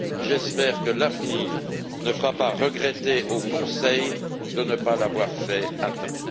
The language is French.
J'espère que l'avenir ne fera pas regretter au Conseil de ne pas l'avoir fait à temps.